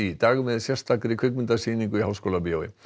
dag með sérstakri kvikmyndasýningu í Háskólabíói